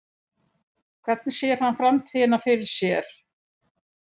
Hvernig sér hann framtíðina fyrir sér?